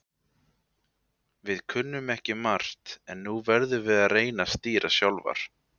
Við kunnum ekki margt en nú verðum við að reyna að stýra sjálfar.